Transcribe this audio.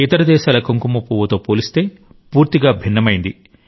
ఇతర దేశాల కుంకుమపువ్వు తో పోలిస్తే పూర్తిగా భిన్నమైంది